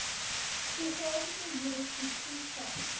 geografiese jurisdiksie val